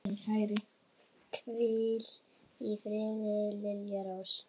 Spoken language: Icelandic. Hvíl í friði, Lilja Rós.